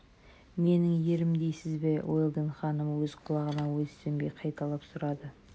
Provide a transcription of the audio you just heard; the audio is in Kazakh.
менің ерім дейсіз бе уэлдон ханым өз құлағына өзі сенбей қайталап сұрады